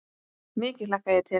Mikið hlakka ég til.